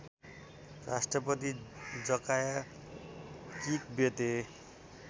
Rashtrapati Jakaya Kikwete